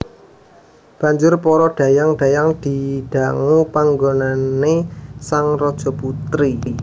Banjur para dhayang dhayang didangu panggonané sang Rajaputri